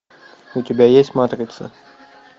у тебя есть матрица